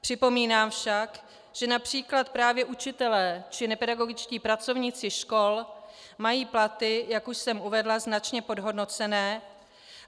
Připomínám však, že například právě učitelé či nepedagogičtí pracovníci škol mají platy, jak už jsem uvedla, značně podhodnocené.